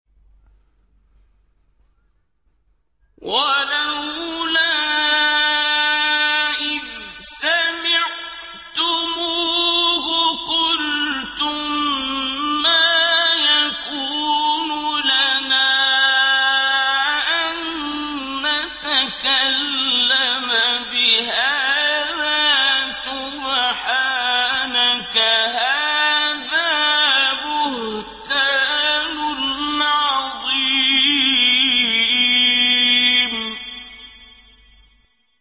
وَلَوْلَا إِذْ سَمِعْتُمُوهُ قُلْتُم مَّا يَكُونُ لَنَا أَن نَّتَكَلَّمَ بِهَٰذَا سُبْحَانَكَ هَٰذَا بُهْتَانٌ عَظِيمٌ